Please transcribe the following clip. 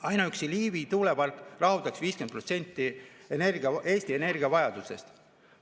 Ainuüksi Liivi tuulepark rahuldaks 50% Eesti energiavajadusest.